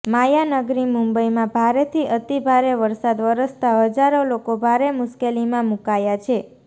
માયાનગરી મુંબઈમાં ભારેથી અતિ ભારે વરસાદ વરસતા હજારો લોકો ભારે મુશ્કેલીમાં મુકાયા છે